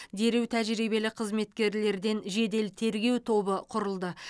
дереу тәжірибелі қызметкерлерден жедел тергеу тобы құрылды